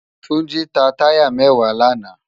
Tunji tá tàyá mèwá làná